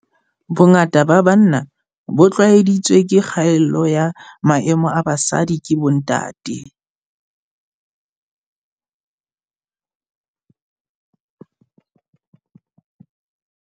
"Bongata ba banna bo tshwaeditswe ke kgatello ya maemo a basadi ke bontate."